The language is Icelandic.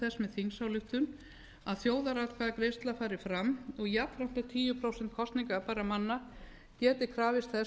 þingsályktun að þjóðaratkvæðagreiðsla fari fram og jafnframt að tíu prósent kosningabærra manna geti krafist þess